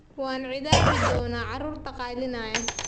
Waan ciqaabi doonaa carruurta qaylinaya